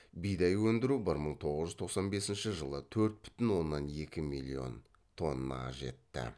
бидай өндіру бір мың тоғыз жүз тоқсан екінші жылы төрт бүтін оннан екі миллион тоннаға жетті